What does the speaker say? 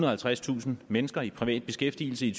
og halvtredstusind mennesker i privat beskæftigelse i